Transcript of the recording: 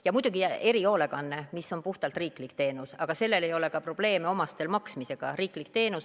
Ja muidugi erihoolekanne, mis on puhtalt riiklik teenus, aga selle puhul ei ole ka omastel maksmisega probleeme.